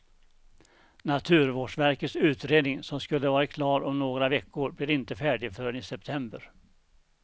Naturvårdsverkets utredning, som skulle varit klar om några veckor, blir inte färdig förrän i september.